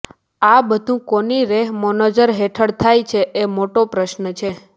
આ બધું કોની રેહમોંનજર હેઠળ થાય છે એ મોટો પ્રશ્ન છે